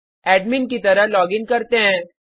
admin की तरह login करते हैं